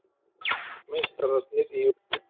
Meistararnir í úrslit